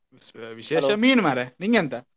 V~ ಮೀನ್ ಮಾರ್ರೆ ನಿಂಗೆಂತ?